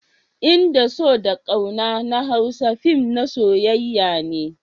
In da so da ƙauna na Hausa fin na soyyayar ne